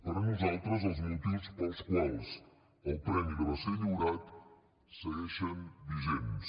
per a nosaltres els motius pels quals el premi li va ser lliurat segueixen vigents